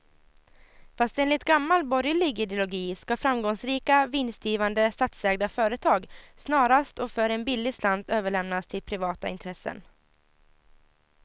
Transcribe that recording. Fast enligt gammal borgerlig ideologi ska framgångsrika, vinstgivande statsägda företag snarast och för en billig slant överlämnas till privata intressen.